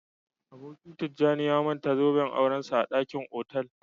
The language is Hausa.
Aboki Tijjani ya manta zoben aurensa a dakin otal